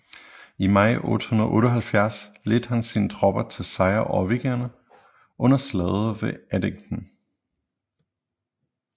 I maj 878 ledte han sine tropper til sejr over vikingerne under slaget ved Edington